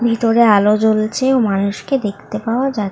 ভিতরে আলো জ্বলছে ও মানুষকে দেখতে পাওয়া যাচ --